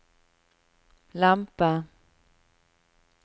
lempe